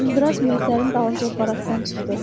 Uzunduraz Mexdərinin dalınca barakdan çıxdı.